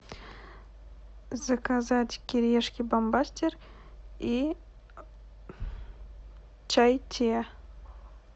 заказать кириешки бомбастер и чай тиа